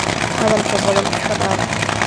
Hadhalka baadhan iskadaaf.